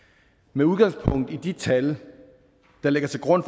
med udgangspunkt i de tal der ligger til grund